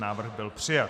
Návrh byl přijat.